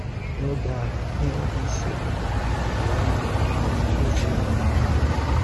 N’oge ahụ, ha enweghi isi obodo, ala nna, ma ọ bụ eze a na-ahụ anya.